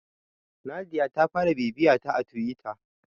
Nadiya ta fara bibiyata a Tiwita.